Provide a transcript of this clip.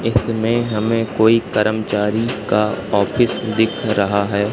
इसमें हमें कोई कर्मचारी का ऑफिस दिख रहा है।